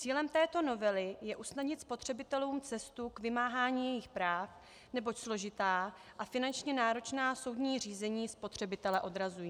Cílem této novely je usnadnit spotřebitelům cestu k vymáhání jejich práv, neboť složitá a finančně náročná soudní řízení spotřebitele odrazují.